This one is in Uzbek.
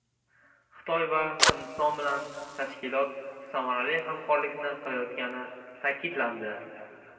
Xitoy va Hindiston bilan tashkilot samarali hamkorlikni qilayotgani ta’kidlandi.